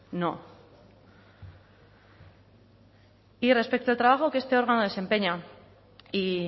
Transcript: no y respecto al trabajo que este órgano desempeña y